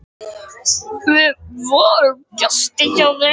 Við vorum gestir hjá þeim.